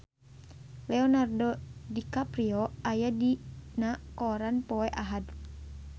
Leonardo DiCaprio aya dina koran poe Ahad